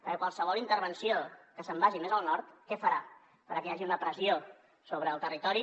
perquè qualsevol intervenció que se’n vagi més al nord què farà farà que hi hagi una pressió sobre el territori